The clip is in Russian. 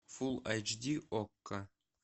фул айч ди окко